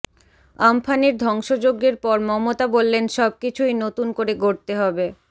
আম্ফানের ধ্বংসযজ্ঞের পর মমতা বললেন সবকিছুই নতুন করে গড়তে হবে